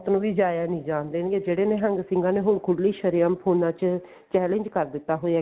ਜਾਇਆ ਨਹੀਂ ਜਾਣ ਦੇਣਗੇ ਜਿਹੜੇ ਨਿਹੰਗ ਸਿੰਘਾ ਨੇ ਖੁੱਲੀ ਸ਼ਰੇਆਮ ਫੋਨਾ ਚ challenge ਕਰ ਦਿੱਤਾ ਹੋਇਆ